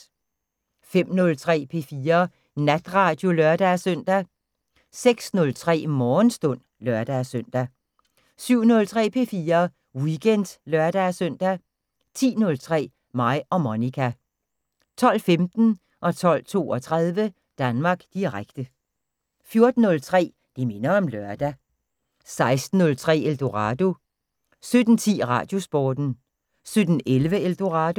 05:03: P4 Natradio (lør-søn) 06:03: Morgenstund (lør-søn) 07:03: P4 Weekend (lør-søn) 10:03: Mig og Monica 12:15: Danmark Direkte 12:32: Danmark Direkte 14:03: Det minder om lørdag 16:03: Eldorado 17:10: Radiosporten 17:11: Eldorado